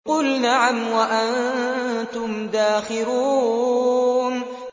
قُلْ نَعَمْ وَأَنتُمْ دَاخِرُونَ